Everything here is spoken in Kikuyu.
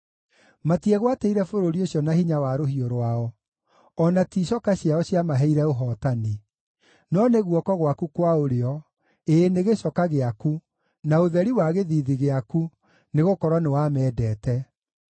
Matiegwatĩire bũrũri ũcio na hinya wa rũhiũ rwao, o na ti icoka ciao ciamaheire ũhootani; no nĩ guoko gwaku kwa ũrĩo, ĩĩ nĩ gĩcoka gĩaku, na ũtheri wa gĩthiithi gĩaku, nĩgũkorwo nĩwamendete.